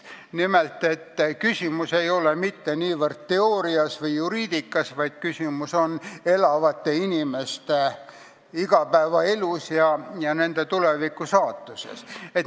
Nimelt selle, et küsimus ei ole mitte niivõrd teoorias või juriidikas, vaid küsimus on elavate inimeste igapäevaelus ja nende tulevikus, saatuses.